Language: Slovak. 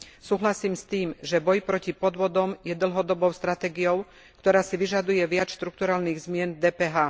Súhlasím s tým, že boj proti podvodom je dlhodobou stratégiou, ktorá si vyžaduje viac štrukturálnych zmien v DPH.